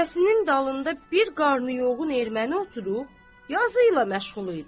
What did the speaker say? Qəfəsinin dalında bir qarnıyogun erməni oturub, yazı ilə məşğul idi.